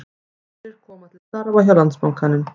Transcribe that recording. Aðrir koma til starfa hjá Landsbankanum